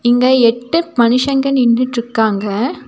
இங்க எட்டு மனிஷங்க நின்னுகிட்டு இருக்காங்க.